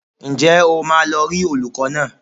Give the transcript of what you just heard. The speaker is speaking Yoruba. Ǹjẹ́ o máa lọ rí olùkọ́ náà?